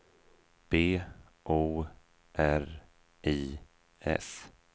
B O R I S